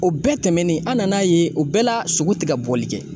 O bɛɛ tɛmɛnen an nan'a ye o bɛɛ la sogo ti ka bɔli kɛ.